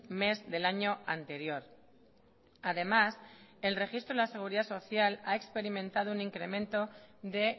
mes del año anterior además el registro en la seguridad social ha experimentado un incremento de